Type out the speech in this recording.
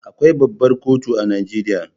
Akwai babbar kotu a Najeriya.